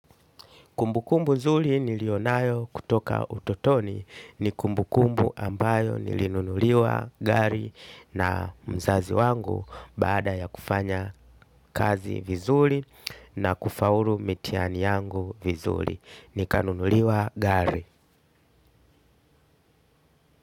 Kumbu kumbu zuli nilionayo kutoka utotoni, ni kumbu kumbu ambayo nilinunuliwa gari na mzazi wangu, baada ya kufanya kazi vizuli na kufauru mitihani yangu vizuli. Nika nunuliwa gari.